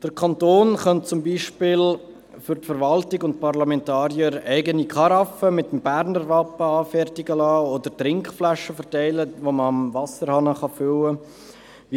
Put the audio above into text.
Der Kanton könnte zum Beispiel für die Verwaltung und die Parlamentarier eigene Karaffen mit dem Berner Wappen anfertigen lassen oder Trinkflaschen verteilen, die man am Wasserhahn füllen kann.